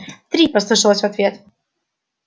три послышалось в ответ